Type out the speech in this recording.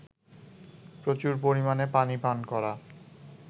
প্রচুর পরিমাণে পানি পান করা